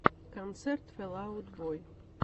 концерт фэл аут бой